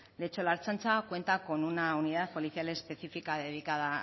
de hecho la ertzaintza cuenta con una unidad policial específica dedicada